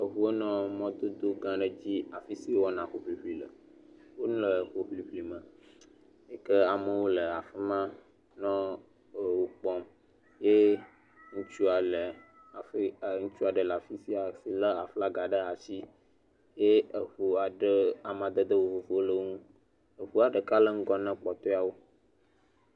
Eŋuwo nɔ mɔdodo gã aɖe dzi afi si wo wɔna hoŋliŋli le. Wole hoŋliŋli me yi ke amewo le afi ma nɔ wo kpɔm. Ye ŋutsua le afi yi e ŋutsu aɖe le afi sia si le aflaga ɖe asi ye eŋu aɖe amadede vovovowo le wo ŋu. Eŋua ɖeka le ŋgɔ na kpɔtɔe wo.